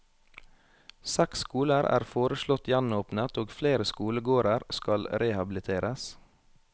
Seks skoler er foreslått gjenåpnet og flere skolegårder skal rehabiliteres.